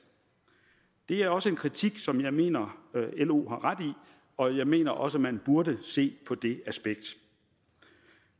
det er også en kritik som jeg mener lo har ret i og jeg mener også at man burde se på det aspekt